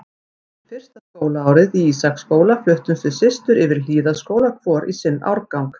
Eftir fyrsta skólaárið í Ísaksskóla fluttumst við systur yfir í Hlíðaskóla, hvor í sinn árgang.